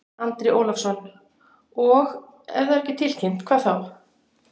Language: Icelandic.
Andri Ólafsson: Og ef það er ekki tilkynnt, hvað þá?